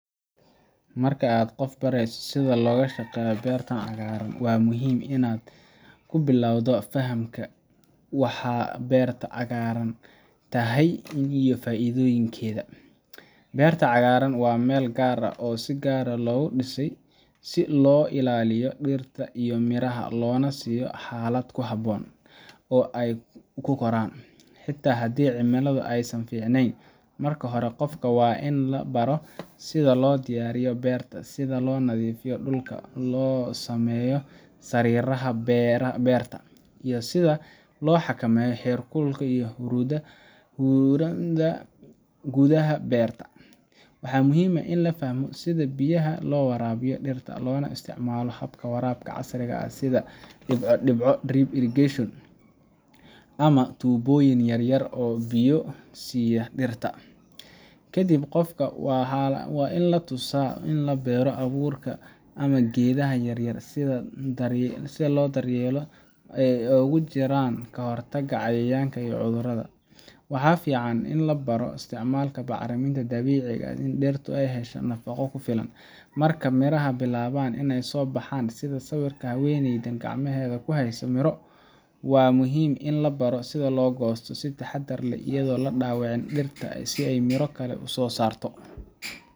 Marka aad qof barayso sida loo shaqeeyo beerta cagaaran, waa muhiim inaad ku bilowdo fahamka waxa beerta cagaaran tahay iyo faa’iidooyinkeeda. Beerta cagaaran waa meel gaar ah oo si gaar ah loogu dhisay si loo ilaaliyo dhirta iyo miraha, loona siiyo xaalad ku habboon oo ay ku koraan, xitaa haddii cimiladu aysan fiicnayn. Marka hore, qofka waa in la baro sida loo diyaariyo beerta, sida in la nadiifiyo dhulka, loo sameeyo sariiraha beerta, iyo sida loo xakameeyo heerkulka iyo huurada gudaha beerta. Waxaa muhiim ah in la fahmo sida biyaha loo waraabiyo dhirta, loona isticmaalo hababka waraabka casriga ah sida dhibco dhibco drip irrigation ama tuubooyin yar yar oo biyo siiya dhirta. Kadib, qofka waa in la tusaa sida loo beero abuurka ama geedaha yaryar, sida loo daryeelo, oo ay ku jiraan ka hortagga cayayaanka iyo cudurrada. Waxaa fiican in la baro isticmaalka bacriminta dabiiciga ah si dhirtu u hesho nafaqo ku filan. Marka miraha bilaabaan inay soo baxaan, sida sawirka haweeneyda oo gacmaheeda ku haysa miro, waa muhiim in la baro sida loo goosto si taxaddar leh, iyadoo la dhaawacin dhirta si ay miro kale u soo saarto.